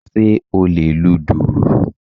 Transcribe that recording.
Sé o lè lu dùrù?